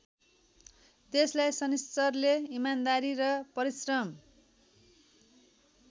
त्यसलाई शनिश्चरले इमानदारी र परिश्रम